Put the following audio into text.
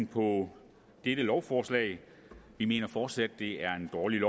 på dette lovforslag vi mener fortsat at det er et dårligt